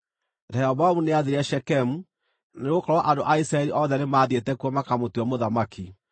Rehoboamu nĩathiire Shekemu, nĩgũkorwo andũ a Isiraeli othe nĩmathiĩte kuo makamũtue mũthamaki.